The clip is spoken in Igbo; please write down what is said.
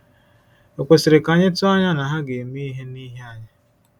Ò kwesiri ka anyị tụọ anya na ha ga-eme ihe n’ihi anyị?